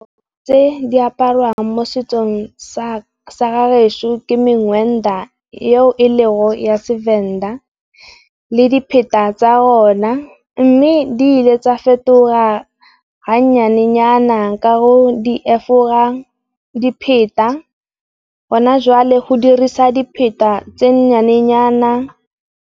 Tse di aparwang mo setsong sa ga gešo ke mengwenda eo e le go ya Sevenda le dipheta tsa ona. Mme, di le tsa fetoha ha nnyane-nyana ka go di efogang dipheta gona jwale go diriswa dipheta tse nnyane-nyana.